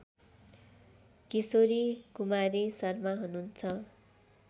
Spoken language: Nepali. केशरी कुमारी शर्मा हुनुहुन्छ